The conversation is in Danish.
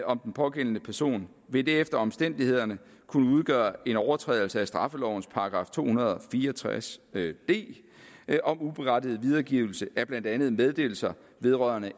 om den pågældende person vil det efter omstændighederne kunne udgøre en overtrædelse af straffelovens § to hundrede og fire og tres d d om uberettiget videregivelse af blandt andet meddelelser vedrørende